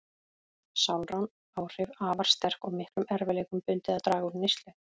Sálræn áhrif afar sterk og miklum erfiðleikum bundið að draga úr neyslu.